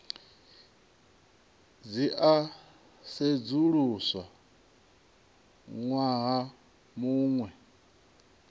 dzi a sedzuluswa ṅwaha muṅwe